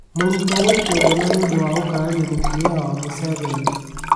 Mũrutwo gũikio ngono nĩ ũndũ wa gũkararia mũtumia wa Mũseveni.